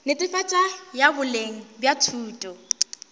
netefatšo ya boleng bja thuto